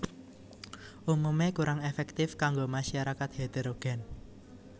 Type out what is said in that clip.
Umumé kurang èfèktif kanggo masyarakat heterogèn